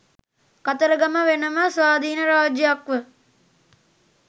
කතරගම වෙන ම ස්වාධීන රාජ්‍යයක් ව